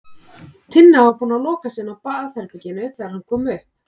Tinna var búin að loka sig inni á baðherberginu þegar hann kom upp.